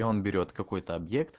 он берет какой-то обьект